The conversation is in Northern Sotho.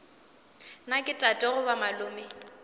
na ke tate goba malome